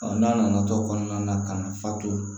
n'a nana to kɔnɔna na ka na fa to